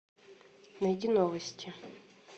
найди новости